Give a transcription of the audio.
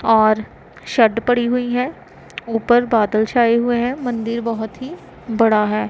और शर्ट पड़ी हुई है ऊपर बादल छाए हुए हैं मंदिर बहोत ही बड़ा है।